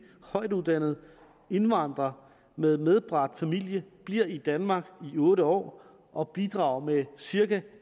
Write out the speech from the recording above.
højtuddannede indvandrer med medbragt familie bliver i danmark i otte år og bidrager med cirka